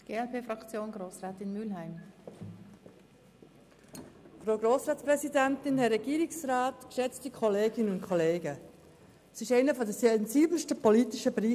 Wir diskutieren hier über einen der sensibelsten politischen Bereiche.